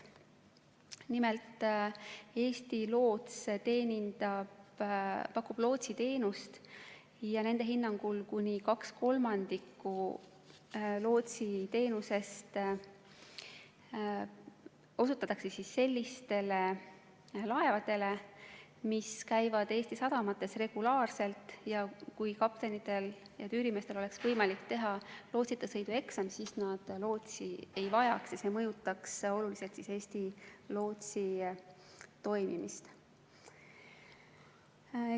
Nimelt Eesti Loots teenindab, pakub lootsiteenust ja nende hinnangul kuni kaks kolmandikku lootsiteenusest osutatakse sellistele laevadele, mis käivad Eesti sadamates regulaarselt ja kui kaptenitel ja tüürimeestel oleks võimalik teha lootsita sõidu eksam, siis nad lootsi ei vajaks ja see mõjutaks oluliselt Eesti Lootsi tegevust.